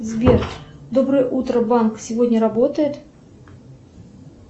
сбер доброе утро банк сегодня работает